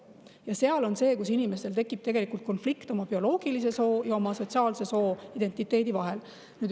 See on, kus inimestel tekib tegelikult konflikt oma bioloogilise soo ja oma sotsiaalse soo, identiteedi vahel.